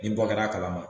Ni bɔ kɛra a kalama